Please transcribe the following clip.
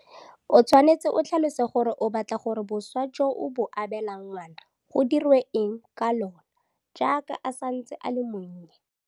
O tshwanetse o tlhalose gore o batla gore boswa jo o bo abelang ngwana go diriwe eng ka lona jaaka a santse a le monnye.